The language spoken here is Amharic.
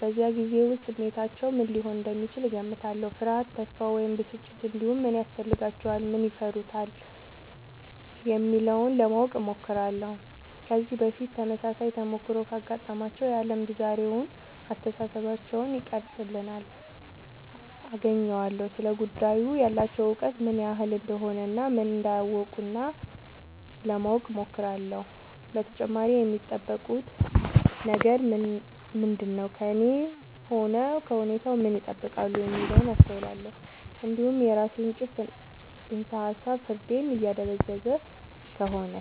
በዚያ ጊዜ ውስጥ ስሜታቸው ምን ሊሆን እንደሚችል እገምታለሁ ፍርሃት ተስፋ ወይም ብስጭት እንዲሁም ምን ያስፈልጋቸዋል ምን ይፈሩታል የሚለውን ለማወቅ እሞክራለሁ ከዚህ በፊት ተመሳሳይ ተሞክሮ ካጋጠማቸው ያ ልምድ ዛሬውን አስተሳሰባቸውን ይቀርፃልና አገናኘዋለሁ ስለ ጉዳዩ ያላቸው እውቀት ምን ያህል እንደሆነ እና ምን እንዳላወቁ ለማወቅ እሞክራለሁ በተጨማሪም የሚጠብቁት ነገር ምንድነው ከእኔም ሆነ ከሁኔታው ምን ይጠብቃሉ የሚለውን አስተውላለሁ እንዲሁም የራሴ ጭፍን ጽንሰ ሀሳብ ፍርዴን እያደበዘዘ ከሆነ